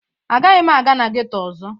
Agaghị m aga na geto ọzọ.